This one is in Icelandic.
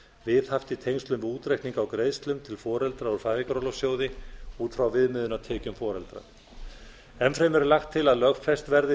viðhaft í tengslum við útreikning á greiðslum fyrir foreldra úr fæðingarorlofssjóði út frá viðmiðunartekjum foreldra enn fremur er lagt til að lögfest verði